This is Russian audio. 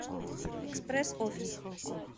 экспресс офис